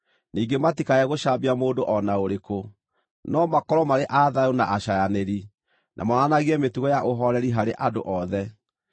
ningĩ matikae gũcambia mũndũ o na ũrĩkũ, no makorwo marĩ a thayũ na acaayanĩri, na monanagie mĩtugo ya ũhooreri harĩ andũ othe.